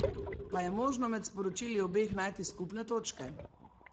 Pa je možno med sporočili obeh najti skupne točke?